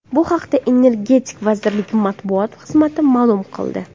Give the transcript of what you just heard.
Bu haqda Energetika vazirligi matbuot xizmati ma’lum qildi .